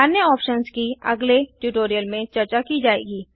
अन्य ऑप्शन्स की अगले ट्यूटोरियल में चर्चा की जाएगी